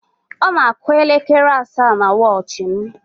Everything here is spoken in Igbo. Ọ na-àkụ́ elekere asaa na wọchị m.